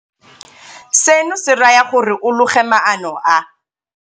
Seno se raya gore o loge maano a a -